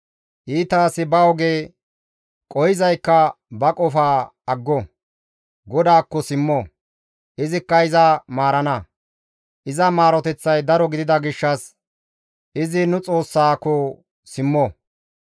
Iita asi ba oge, qohizaykka ba qofa aggo; GODAAKKO simmo. Izikka iza maarana; iza maaroteththay daro gidida gishshas izi nu Xoossako simmo.